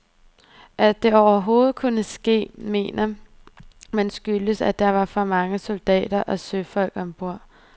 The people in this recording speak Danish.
At det overhovedet kunne ske, mener man skyldtes, at der var for mange soldater og søfolk ombord.